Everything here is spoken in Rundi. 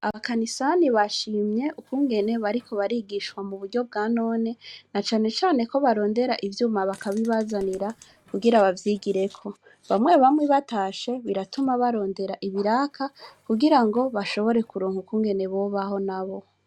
Abakanisani bashimye ukungene bariko barigishwa muburyo bwa none, na cane cane ko bakrondera ivyuma bakabibazanira kugira bavyigireko. Bamwe bamwe batashe biratuma barondera ibiraka kugira ngo bashobore kuronka uko babaho.